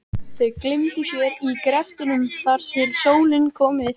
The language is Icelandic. Þau gleymdu sér í greftrinum þar til sólin kom upp.